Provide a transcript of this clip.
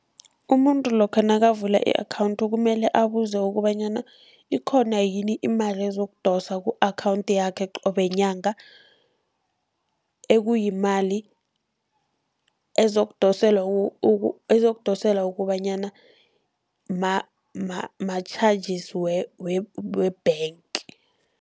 Umuntu lokha nakavula i-account kumele abuze kobanyana, ikhona yini imali ezokudoswa ku-account yakhe qobe nyanga, ekuyimali ezokudoselwa kobanyana ma-charges we-bank.